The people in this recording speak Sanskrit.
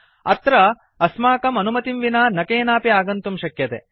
तत्र अस्माकम् अनुमतिं विना न केनापि आगन्तुं शक्यते